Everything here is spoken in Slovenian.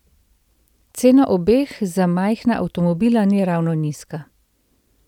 Cena obeh za majhna avtomobila ni ravno nizka.